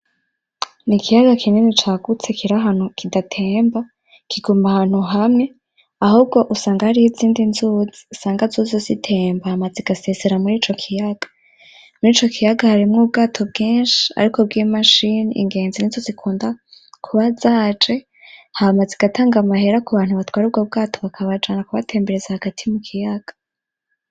N'ikiyaga kinini cagutse kiri ahantu kidatemba, kiguma ahantu hamwe, ahubwo usanga hariho izindi nzuzi usanga zozo zitemba hama zigasesera mur'ico kiyaga, mur'ico kiyaga harimwo ubwato bwinshi ariko bw'imashini, ingenzi nizo zikunda kuba zaje hama zigatanga amahera ku bantu batwara ubwo bwato, bakabajana kubatembereza hagati mu kiyaga.